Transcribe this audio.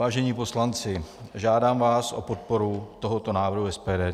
Vážení poslanci, žádám vás o podporu tohoto návrhu SPD.